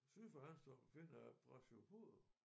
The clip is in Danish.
Syd for Hanstholm finder jeg brachiopoder